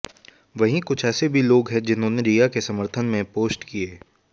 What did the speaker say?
वहीं कुछ ऐसे भी लोग हैं जिन्होंने रिया के समर्थन में पोस्ट किए